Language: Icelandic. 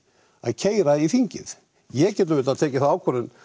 að keyra í þingið ég get auðvitað tekið þá ákvörðun